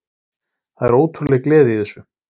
Það er ótrúleg gleði í þessu